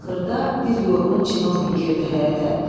Axırda bir yorğun çinovnik girdi həyətə.